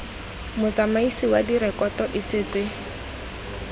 motsamaisi wa direkoto e setse